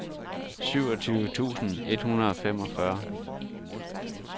syvogtyve tusind et hundrede og femogfyrre